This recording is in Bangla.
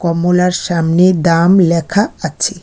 মোলার সামনে দাম লেখা আছে।